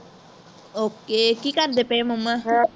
okay ਕਿ ਕਰਦੇ ਪਏ mumma